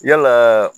Yalaa